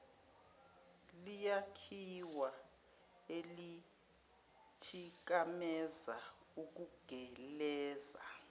liyakhiwa elithikameza ukugeleza